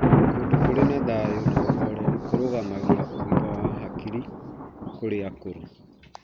Kũndũ kũrĩ na thayo na ũhoreru kũrũgamagia ũgima wa hakiri kũrĩ akũrũ.